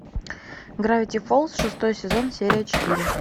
гравити фолз шестой сезон серия четыре